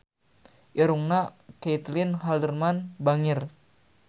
Irungna Caitlin Halderman bangir